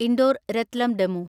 Indore Ratlam DEMU